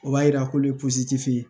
O b'a yira k'olu ye ye